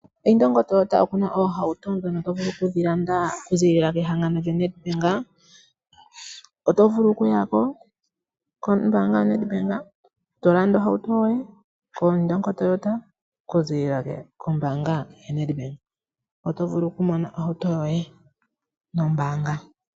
Indongo Toyota oku na oohauto ndhono to vulu okudhi landa okuzilila kehangano lyoNed Bank oto vulu okuyako kombanga yoNed Bank to landa ohauto yoye koIndongo Toyota okuzilila kombanga yoNed Bank oto vulu okumona ohauto yoye nombanga.